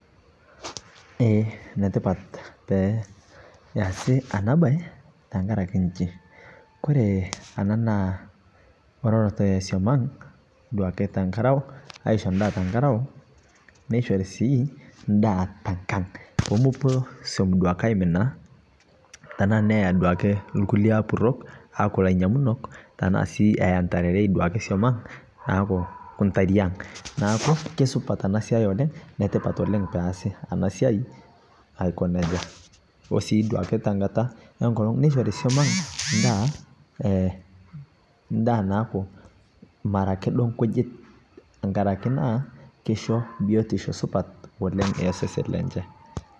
eeh netipat peasii anaa bai tankarakee nchii koree anaa naa orerato esom ang' duake tenkarao aishoo ndaa tenkarao meishori sii ndaa tenkang' pomopuo duake som aiminaa tanaa neyaa duake lkulie apurok aaku lainyang'unok tanaa sii ayaa ntarerei duake suom ang' neaku ntariang' neaku keisupat anaa siai oleng' netipat oleng peasi anaa siai aiko nejaa osii duake tenkataa enkolong' neishorii suom ang' ndaa, ndaa naaku ara akee duo nkujit ng'arakee naa keisho biotishoo supat oleng' esesen lenshee.